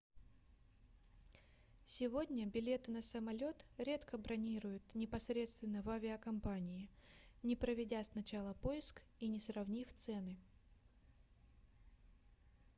сегодня билеты на самолет редко бронируют непосредственно в авиакомпании не проведя сначала поиск и не сравнив цены